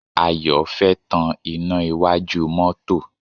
Ayọ̀ fẹ́ tan iná iwájú mọ́tọ́.